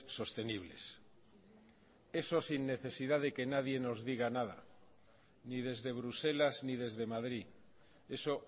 sostenibles eso sin necesidad de que nadie nos diga nada ni desde bruselas ni desde madrid eso